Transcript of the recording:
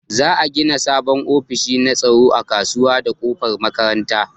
Za'a gina sabon ofishi na tsaro a kusa da kofar makaranta